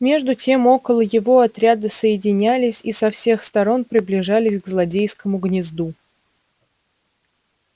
между тем около его отряды соединялись и со всех сторон приближались к злодейскому гнезду